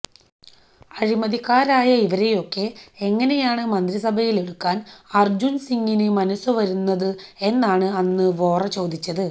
അഴിമതിക്കാരായ ഇവരെയൊക്കെ എങ്ങനെയാണ് മന്ത്രിസഭയിലെടുക്കാൻ അർജുൻ സിങ്ങിന് മനസ്സുവരുന്നത് എന്നാണ് അന്ന് വോറ ചോദിച്ചത്